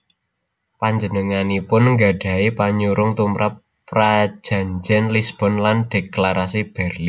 Panjenenganipun nggadhahi panyurung tumrap Prajanjén Lisbon lan Dhéklarasi Bérlin